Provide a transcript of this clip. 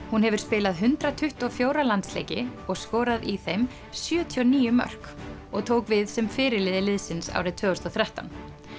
hún hefur spilað hundrað tuttugu og fjóra landsleiki og skorað í þeim sjötíu og níu mörk og tók við sem fyrirliði liðsins árið tvö þúsund og þrettán